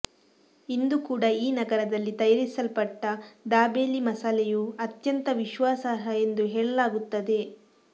ಇಂದು ಕೂಡ ಈ ನಗರದಲ್ಲಿ ತಯಾರಿಸಲ್ಪಟ್ಟ ದಾಬೇಲಿ ಮಸಾಲೆಯು ಅತ್ಯಂತ ವಿಶ್ವಾಸಾರ್ಹ ಎಂದು ಹೇಳಲಾಗುತ್ತದೆ